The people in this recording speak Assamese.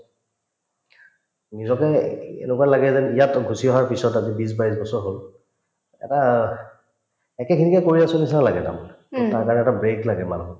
নিজকে এ‍ই এনেকুৱা লাগে যেন ইয়াত গুচি অহাৰ পিছত আজি বিশ-বাইছ বছৰ হল এটা একেখিনিকে কৰি আছো নিচিনা লাগে তাৰমানে তাৰকাৰণে এটা break লাগে মানুহক